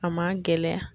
A ma gɛlɛya